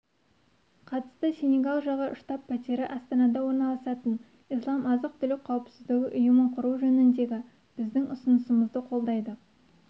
қатысты сенегал жағы штаб-пәтері астанада орналасатын ислам азық-түлік қауіпсіздігі ұйымын құру жөніндегі біздің ұсынысымызды қолдайды